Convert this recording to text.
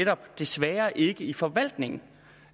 desværre ikke i forvaltningen